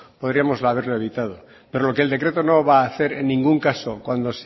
podríamos haberlo evitado pero lo que el decreto no va a hacer en ningún caso